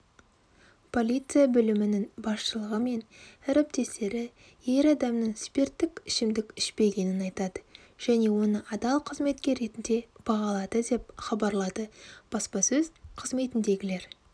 полиция бөлімінің басшылығы мен әріптестері ер адамның спирттік ішімдік ішпегенін айтады және оны адал қызметкер ретінде бағалады деп хабарлады баспасөз қызметіндегілер